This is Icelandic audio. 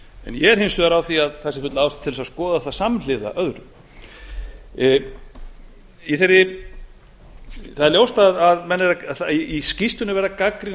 ég er hins vegar á því að það sé full ástæða til að skoða það samhliða öðru það er ljóst að í skýrslunni er